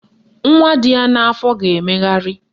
Nwa dị ya n'afọ ga-emegharị